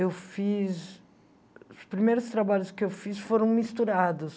Eu fiz... Os primeiros trabalhos que eu fiz foram misturados.